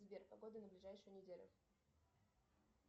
сбер погода на ближайшую неделю